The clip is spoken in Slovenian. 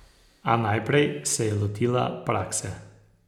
A naprej sem se lotila prakse.